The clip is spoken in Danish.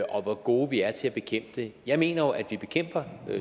og hvor gode vi er til at bekæmpe det jeg mener jo at vi bekæmper